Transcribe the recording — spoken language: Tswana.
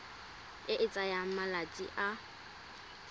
e e tsayang malatsi a